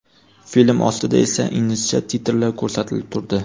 Film ostida esa inglizcha titrlar ko‘rsatilib turdi.